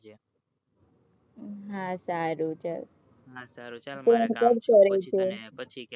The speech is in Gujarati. હા સારું ચલ હા સારું ચલ